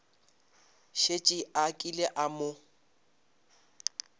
šetše a kile a mo